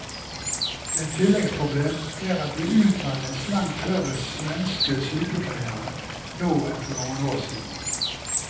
Et tilleggsproblem er at det utdannes langt færre svenske sykepleiere nå enn for noen år siden.